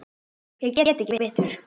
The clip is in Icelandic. Ég get ekki betur.